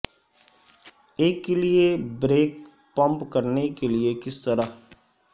ایک کے لئے بریک پمپ کرنے کے لئے کس طرح